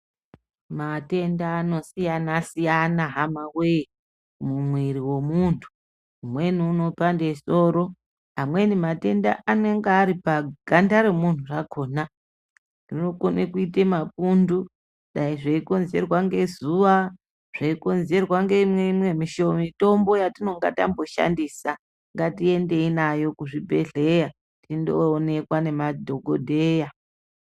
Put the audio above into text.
Matenda anosiyana-siyana hama voye mumwiri vomuntu. Umweni unopande soro amweni matenda anenge ari paganda remuntu rakona. Rinokone kuite mapundu dai zveikonzerwa ngezuva zveikonzerwa ngeimwe mitombo yatinonga tambo shandisa. Ngatiendei nayo kuzvibhedhleya tindoonekwa ngemadhogodheya.